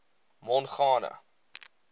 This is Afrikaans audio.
mongane